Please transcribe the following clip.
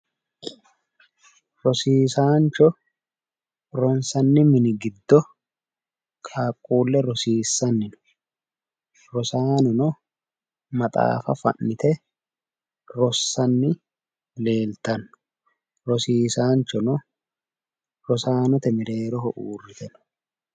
Rosiisaancho ronsanni mini giddo qaaqquulle rosiissanni no. Rosaanono maxaafa fa'nite rossanni leeltanno rosiisaanchono rosaanote mereeroho uurrite no.